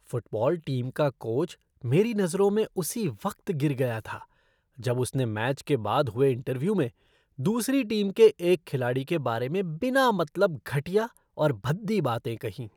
Football team का coach मेरी नज़रों में उसी वक्त गिर गया था जब उसने मैच के बाद हुए इंटरव्यू में दूसरी टीम के एक खिलाड़ी के बारे में बिना मतलब घटिया और भद्दी बातें कहीं।